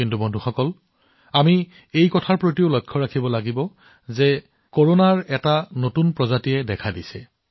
কিন্তু বন্ধুসকল আমি এইটোও মনত ৰাখিব লাগিব যে কৰোনাৰ এটা নতুন ৰূপৰ আগমন ঘটিছে